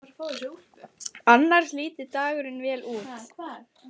Annars líti dagurinn vel út